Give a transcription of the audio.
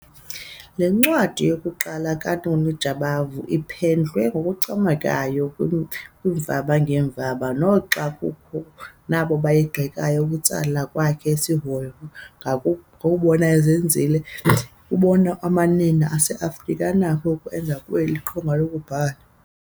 Le ncwadi yokuqala kaNoni Jabavu iphendlwe ngokuncomekayo kwiimvaba ngeemvaba noxa kukho nabo bayigxekayo. Ukutsala kwakhe isihoyo kangangokuba enzile kubonisa oko amanina aseAfrika anakho ukukwenza kweli qonga lokubhala.